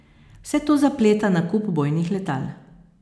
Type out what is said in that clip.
Vse to zapleta nakup bojnih letal.